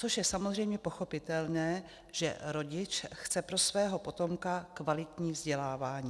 Což je samozřejmě pochopitelné, že rodič chce pro svého potomka kvalitní vzdělávání.